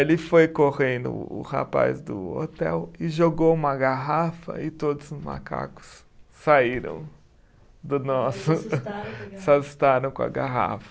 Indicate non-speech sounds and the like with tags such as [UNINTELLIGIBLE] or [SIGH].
Ele foi correndo, o rapaz do hotel, e jogou uma garrafa e todos os macacos saíram do nosso. [UNINTELLIGIBLE] Se assustaram com a garrafa.